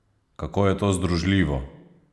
Kako je to združljivo?